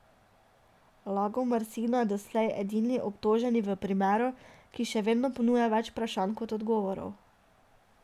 Lagomarsino je doslej edini obtoženi v primeru, ki še vedno ponuja več vprašanj kot odgovorov.